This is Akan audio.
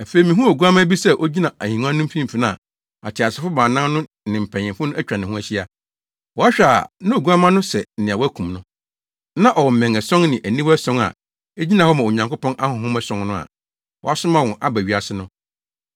Afei mihuu Oguamma bi sɛ ogyina ahengua no mfimfini a ateasefo baanan no ne mpanyimfo no atwa ne ho ahyia. Wɔhwɛ a na Oguamma no sɛ nea wɔakum no. Na ɔwɔ mmɛn ason ne aniwa ason a egyina hɔ ma Onyankopɔn ahonhom ason no a wɔasoma wɔn aba wiase no.